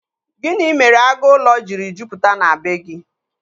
Gịnị mere agụ ụlọ jiri jupụta na bee gị?